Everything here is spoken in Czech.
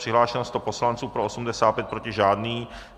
Přihlášeno 100 poslanců, pro 85, proti žádný.